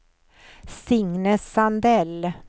Signe Sandell